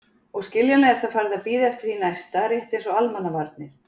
Og skiljanlega er það farið að bíða eftir því næsta, rétt eins og Almannavarnir.